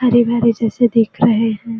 हरे-भरे जैसे दिख रहे है।